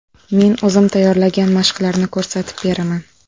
Men o‘zim tayyorlagan mashqlarni ko‘rsatib beraman.